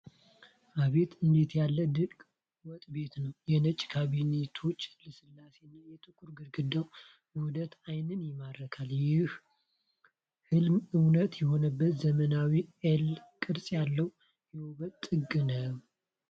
"አቤት! እንዴት ያለ ድንቅ ወጥ ቤት ነው! የነጩ ካቢኔቶች ልስላሴ እና የጥቁሩ ግድግዳ ውህደት ዓይንን ይማርካል። ይህ ህልም እውን የሆነበት ዘመናዊና 'ሌ' ቅርጽ ያለው የውበት ጥግ ነው!"